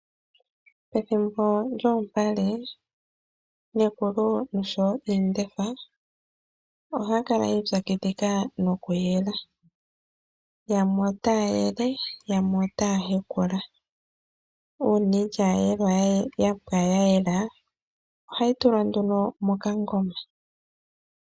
Pethimbo lyoompale Nekulu oshowo iindefa ohaya kala yii pyakidhila no kuyela, yamwe otaya yele yamwe otaya hekala, uuna iilya yapwa ya yela ohayi tulwa nduno moka goma.